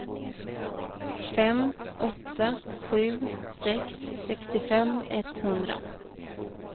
fem åtta sju sex sextiofem etthundra